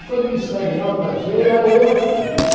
E quando ele está em alta cheia, é outro rio.